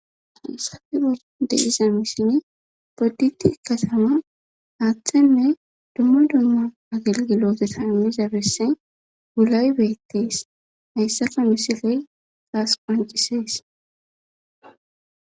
safiro deizamisin podditi katama haaththenne dumma dumma agelgilooteta immi zabessen gulay beettees hayssaka misiley taas qancisees